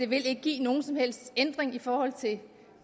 vil give nogen som helst ændring i forhold til